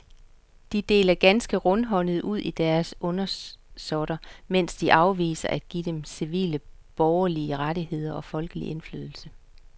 De deler ganske rundhåndet ud til deres undersåtter, mens de afviser at give dem civile borgerlige rettigheder og folkelig indflydelse.